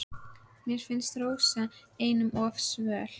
Mér finnst Rósa einum of svöl.